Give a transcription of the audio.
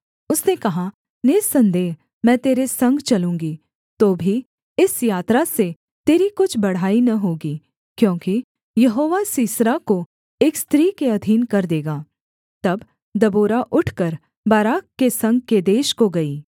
उसने कहा निःसन्देह मैं तेरे संग चलूँगी तो भी इस यात्रा से तेरी कुछ बढ़ाई न होगी क्योंकि यहोवा सीसरा को एक स्त्री के अधीन कर देगा तब दबोरा उठकर बाराक के संग केदेश को गई